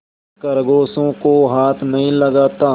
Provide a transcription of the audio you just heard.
मैं खरगोशों को हाथ नहीं लगाता